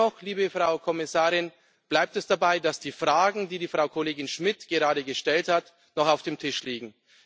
Dennoch, liebe Frau Kommissarin, bleibt es dabei, dass die Fragen, die die Kollegin Schmidt gerade gestellt hat, noch auf dem Tisch liegen.